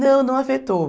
Não, não afetou.